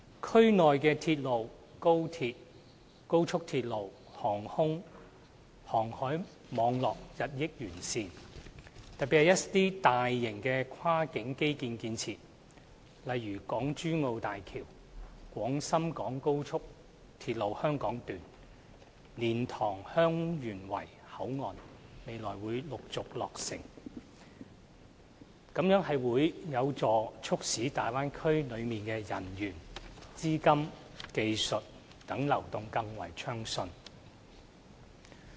區內鐵路、高鐵、高速公路、航空和航海網絡日趨完善，特別是一些大型跨境基建設施，例如港珠澳大橋、廣深港高速鐵路香港段和蓮塘/香園圍口岸未來將陸續落成，這將有助促使大灣區內人員、資金、技術等流動更為順暢。